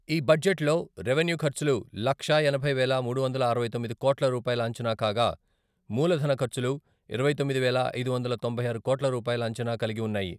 ఈ బడ్జెట్ లో రెవెన్యూ ఖర్చులు లక్షా ఎనభై వేల మూడు వందల అరవై తొమ్మిది కోట్ల రూపాయల అంచనా కాగా, మూలధన ఖర్చులు ఇరవై తొమ్మిది వేల ఐదు వందల తొంభై ఆరు కోట్ల రూపాయల అంచనా కలిగి వున్నాయి.